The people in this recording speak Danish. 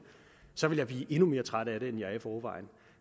så ville jeg blive endnu mere træt af det end jeg er i forvejen